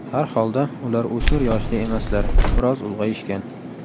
Har holda ular o‘smir yoshida emaslar, biroz ulg‘ayishgan.